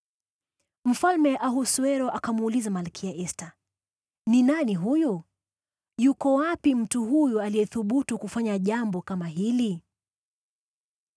Mfalme Ahasuero akamuuliza Malkia Esta, “Ni nani huyu? Yuko wapi mtu huyu aliyethubutu kufanya jambo kama hili?”